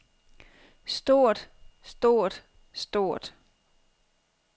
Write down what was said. stort stort stort